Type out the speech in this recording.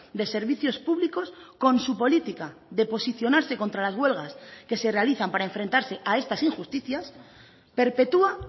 de servicios públicos con su política de posicionarse contra las huelgas que se realizan para enfrentarse a estas injusticias perpetúa